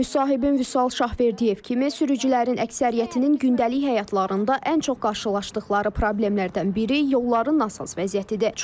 Müsahibin Vüsal Şahverdiyev kimi sürücülərin əksəriyyətinin gündəlik həyatlarında ən çox qarşılaşdıqları problemlərdən biri yolların nasaz vəziyyətidir.